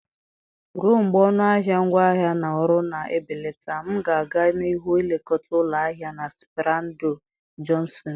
Ruo mgbe ọnụ ahịa ngwaahịa na ọrụ na-ebelata, m ga-aga n'ihu na-elekọta ụlọ ahịa na Sperando Jọnshọnụ